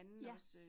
Ja